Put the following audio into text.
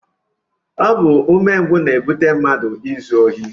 Ọ bụ umengwụ na-ebute mmadụ izu ohi